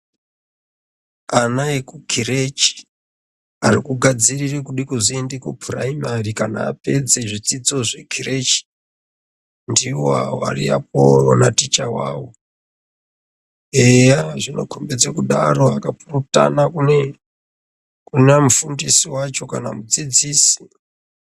Ana ekukirechi arikugadzirire kudakuzoenda kupuraimari kana apedza zvidzidzo zvekirechi. Ndivo avo ari apovo naticha vavo, eya zvinokombidza kudaro akapurutana kuna mufundisi vacho kana mudzidzisi.